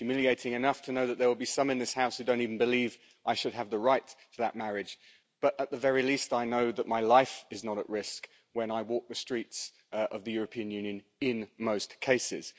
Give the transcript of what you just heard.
It's humiliating enough to know that there will be some in this House who don't even believe I should have the right to that marriage, but, at the very least, I know that my life is not at risk when I walk the streets of the European Union, in most cases.